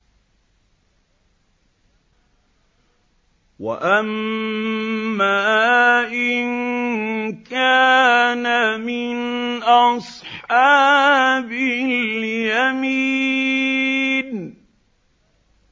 وَأَمَّا إِن كَانَ مِنْ أَصْحَابِ الْيَمِينِ